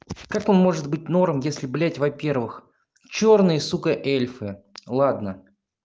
как он может быть норм если блять во-первых чёрный сука эльфы ладно